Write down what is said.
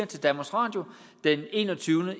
til danmarks radio den enogtyvende